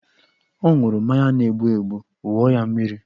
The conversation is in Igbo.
O ṅụrụ mmanya na-egbu egbu, wụọ ya mmiri!